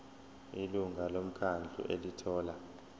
ilungu lomkhandlu elithola